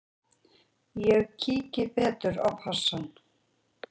Ég kíki betur á passann.